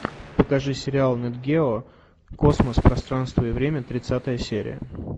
покажи сериал нет гео космос пространство и время тридцатая серия